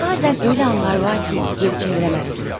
Bəzən elə anlar var ki, geri qaytara bilməzsiniz.